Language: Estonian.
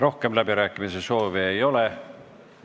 Rohkem läbirääkimiste soovi ei ole.